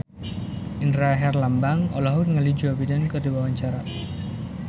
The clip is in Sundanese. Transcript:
Indra Herlambang olohok ningali Joe Biden keur diwawancara